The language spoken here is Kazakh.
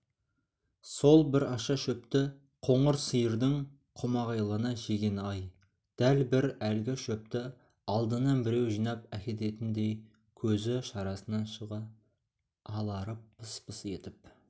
сол бір аша шөпті қоңыр сиырдың қомағайлана жегені-ай дәл бір әлгі шөпті алдынан біреу жинап әкететіндей көзі шарасынан шыға аларып пыс-пыс етіп